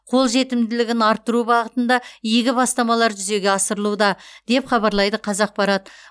қолжетімділігін арттыру бағытында игі бастамалар жүзеге асырылуда деп хабарлайды қазақпарат